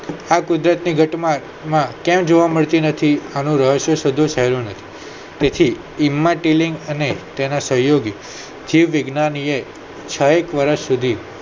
આ કુદરત ની ઘટના ક્યાંય જોવા મળતી નથી આનું રહસ્ય શોધવું સહેલું નહી તેથી ઇમ્મા ટેલિંગ અને તેના સહયોગી જીવવિજ્ઞાનીએ છએક વર્ષ સુધી